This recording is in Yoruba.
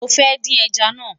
mí fẹ dín ẹja nà